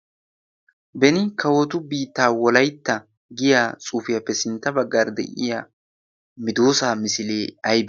beni kawotu biittaa wolaitta giya tsuufiyaappe sintta baggar de'iya midoosaa misilee ay